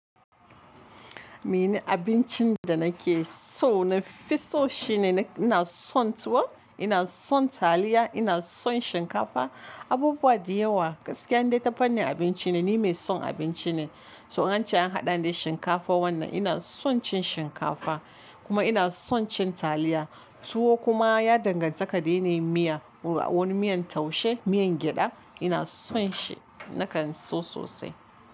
Mene abincin da nake so na fi so shine ina son tuwo, ina son taliya, ina son shinkafa, abubuwa da yawa. Gaskiya in dai ta fannin abinci ne ni mai son abinci ne. To in an ce an haɗa ni da shinkafa wannan ina son cin shinkafa kuma ina son cin taliya. Tuwo kuma ya danganta ka dai ne miya. Wani miyan taushe, miyan gyaɗa ina son shi nakan so sosai.